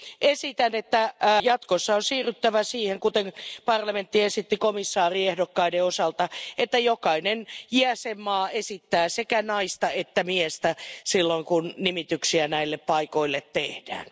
Esitän, että jatkossa on siirryttävä siihen kuten parlamentti esitti komissaariehdokkaiden osalta että jokainen jäsenmaa esittää sekä naista että miestä silloin kun nimityksiä näille paikoille tehdään.